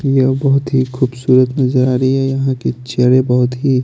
यह बहोत ही खूबसूरत नजर आ रही है यहाँ के चेयरे बहोत ही --